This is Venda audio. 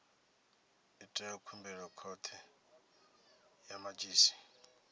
ite khumbelo khothe ya madzhisi